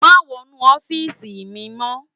Mà wònú òfisi mi mò